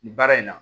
Nin baara in na